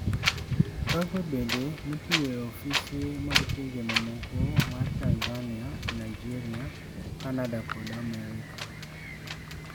Kagwe bende notiyo e ofise mag pinje mamoko mar Tanzania e Nigeria, Canada kod Amerka.